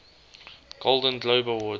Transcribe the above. golden globe awards